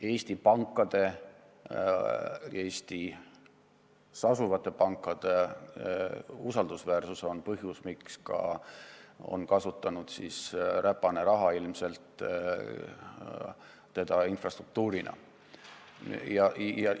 Eestis asuvate pankade usaldusväärsus on põhjus, miks ka räpane raha on seda infrastruktuurina ära kasutanud.